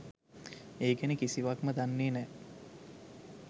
ඒ ගැන කිසිවක්ම දන්නෙ නෑ.